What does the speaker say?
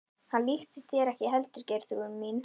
Hann líktist þér ekki heldur Geirþrúður mín.